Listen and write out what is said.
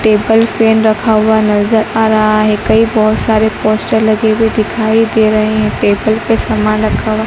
table fan रखा हुआ नज़र आ रहा है कई बहोत सारे पोस्टर लगे हुए दिखाई दे रहे हैं टेबल पे सामान रखा हुआ --